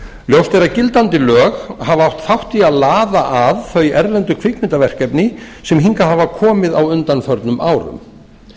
ljóst er að gildandi lög hafa átt þátt í að laða að þau erlendu kvikmyndaverkefni sem hingað hafa komið á undanförnum árum